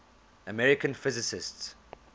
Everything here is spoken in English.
american physicists